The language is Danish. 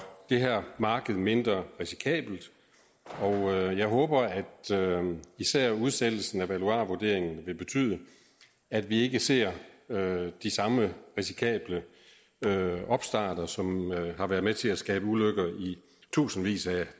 det her marked mindre risikabelt og jeg håber at især udsættelsen af valuarvurderingen vil betyde at vi ikke ser de samme risikable opstarter som har været med til at skabe ulykker i tusindvis af